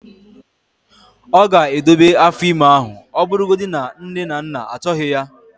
ọ ga-edobe afọ ime ahụ ọ bụrụgodị na nne na nna achọghị ya